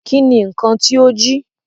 Ki ni nkan ti o jí?